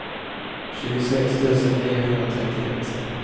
tjugosex tusen niohundratrettioett